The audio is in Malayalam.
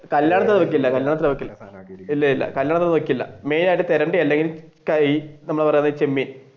കല്യാണത്തിന് അത് വെക്കില്ല കല്യാണത്തിന് അത് വെക്കില്ല ഇല്ല അത് വെക്കില്ല മെയിൻ ആയിട്ട് തിരണ്ടി അല്ലെങ്കിൽ അല്ലെങ്കിൽ ഈ നമ്മൾ പറയണ ചെമ്മീൻ